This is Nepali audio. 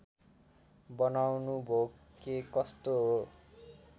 बनाउनुभो के कस्तो हो